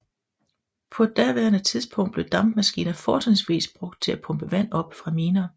På daværende tidspunkt blev dampmaskiner fortrinsvis brugt til at pumpe vand op fra miner